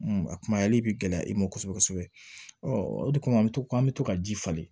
a kumayali bi gɛlɛya i ma kosɛbɛ kosɛbɛ o de kama an bɛ to k'an bɛ to ka ji falen